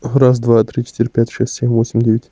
раз два три четыре пять шесть семь восемь девять